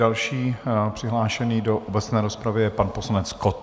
Další přihlášený do obecné rozpravy je pan poslanec Kott.